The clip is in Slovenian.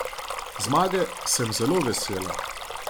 Zmage sem zelo vesela.